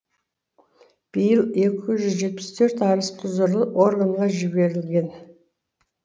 биыл екі жүз жетпіс төрт арыз құзырлы органға жіберілген